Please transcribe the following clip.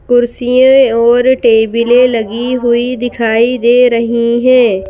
कुर्सियां और टेबले लगी हुई दिखाई दे रही हैं।